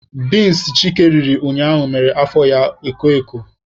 Binsi Chike riri ụnyaahụ mere afọ ya koo eko.